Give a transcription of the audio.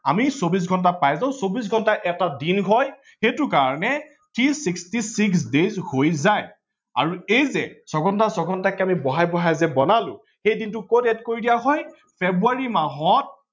আমি চৌবিশ ঘণ্টা পাই যাও চৌবিশ ঘণ্টা এটা দিন হয় সেইটা কাৰনে three sixty six হৈ যায়। আৰু এই যে ছয় ঘণ্টা ছয় ঘণ্টাকে যে আমি বহাই লেপাই বলানো সেই শিনটো কত add কৰি দিয়া হয় ফেব্ৰুৱাৰী মাহত